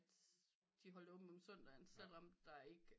De holdte åben om søndagen selvom der ikke